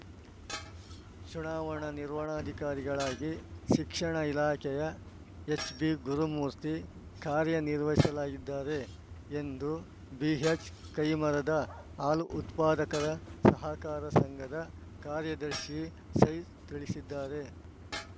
ಚುನಾವಣಾ ನಿರ್ವಣಾಧಿಕಾರಿಗಳಾಗಿ ಶಿಕ್ಷಣ ಇಲಾಖೆಯ ಎಚ್‌ಬಿಗುರುಮೂರ್ತಿ ಕಾರ್ಯ ನಿರ್ವಹಿಸಲಾಗಿದ್ದಾರೆ ಎಂದು ಬಿಎಚ್‌ಕೈಮರದ ಹಾಲು ಉತ್ಪಾದಕರ ಸಹಕಾರ ಸಂಘದ ಕಾರ್ಯದರ್ಶಿ ಸೈಜು ತಿಳಿಸಿದ್ದಾರೆ